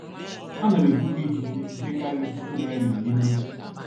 a na m ebuga ìkíke nke kariri puku naira irí n'efu.